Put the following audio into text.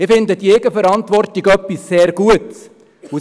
Ich finde diese etwas sehr Gutes.